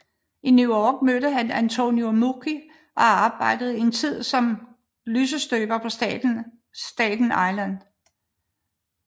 I New York mødte han Antonio Meucci og arbejdede en tid som lysestøber på Staten Island